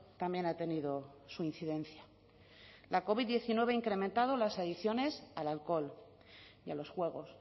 también ha tenido su incidencia la covid diecinueve ha incrementado las adicciones al alcohol y a los juegos